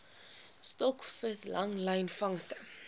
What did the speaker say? stokvis langlyn vangste